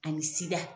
Ani sida